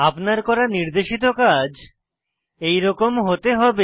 আপনার করা নির্দেশিত কাজ এইরকম হতে হবে